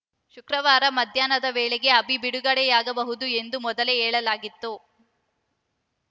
ಶುಕ್ರವಾರ ಮಧ್ಯಾಹ್ನದ ವೇಳೆಗೆ ಅಭಿ ಬಿಡುಗಡೆಯಾಗಬಹುದು ಎಂದು ಮೊದಲೇ ಹೇಳಲಾಗಿತ್ತು